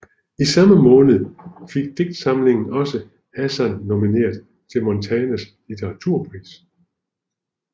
I samme måned fik digtsamlingen også Hassan nomineret til Montanas Litteraturpris